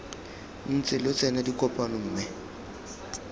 ntse lo tsena dikopano mme